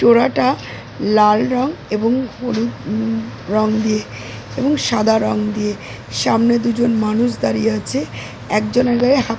চোরাটা লাল রং এবং হলুদ উম রং দিয়ে এবং সাদা রং দিয়ে সামনে দুজন মানুষ দাঁড়িয়ে আছে একজনের গায়ে হাত --